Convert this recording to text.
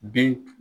Bin